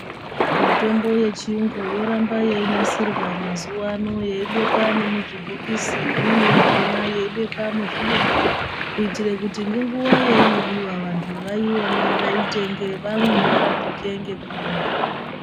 Mitombo yechiyungu yoramba yeinasirwa mazuwaano, yeibekwa nemuzvibhokisi, imweni yakhona yeibekwa muzvidumbu, kuitire kuti ngenguva yeinodiwa vanhu vaione, vaitenge, vamwe, varapike ngekurumba.